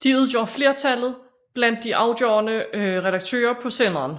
De udgør flertallet blandt de afgørende redaktører på senderen